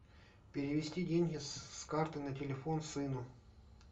перевести деньги с карты на телефон сыну